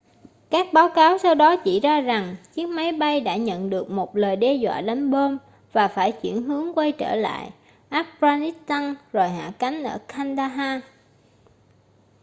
các báo cáo sau đó chỉ ra rằng chiếc máy bay đã nhận được một lời đe doạ đánh bom và phải chuyển hướng quay trở lại afghanistan rồi hạ cánh ở kandahar